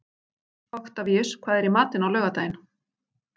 Oktavíus, hvað er í matinn á laugardaginn?